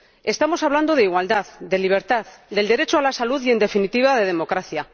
Estamos hablando de igualdad, de libertad, del derecho a la salud y, en definitiva, de democracia.